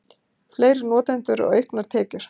Fleiri notendur og auknar tekjur